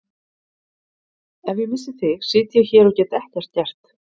Ef ég missi þig sit ég hér og get ekkert gert.